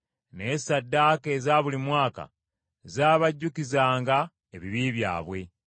Naye ssaddaaka eza buli mwaka zaabajjukizanga ebibi byabwe.